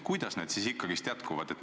Kuidas need siis ikkagi jätkuvad?